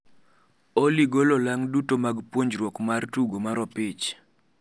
Olly golo olang' duto mag puonjruok mar tugo mar opich